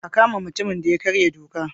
A kama mutumin da ya karya doka.